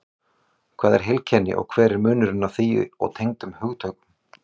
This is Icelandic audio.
Hvað er heilkenni og hver er munurinn á því og tengdum hugtökum?